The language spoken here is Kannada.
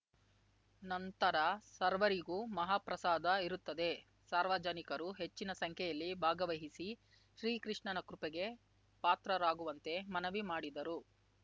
ನಂತರ ಸರ್ವರಿಗೂ ಮಹಾ ಪ್ರಸಾದ ಇರುತ್ತದೆ ಸಾರ್ವಜನಿಕರು ಹೆಚ್ಚಿನ ಸಂಖ್ಯೆಯಲ್ಲಿ ಭಾಗವಹಿಸಿ ಶ್ರೀ ಕೃಷ್ಣನ ಕೃಪೆಗೆ ಪಾತ್ರರಾಗುವಂತೆ ಮನವಿ ಮಾಡಿದರು